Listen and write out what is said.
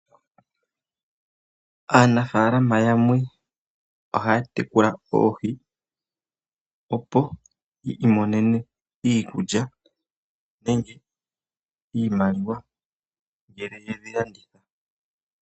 Aanafaalama yamwe ohaya tekula oohi opo yi imonene iikulya nenge iimaliwa ngele yedhi landithapo.